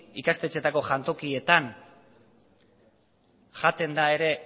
ikastetxeetako jantokietan jaten da ere